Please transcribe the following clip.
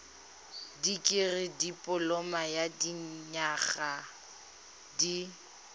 dikirii dipoloma ya dinyaga di